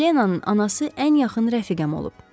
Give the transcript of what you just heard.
Helenenanın anası ən yaxın rəfiqəm olub.